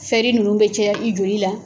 nunnu bɛ caya i joli la.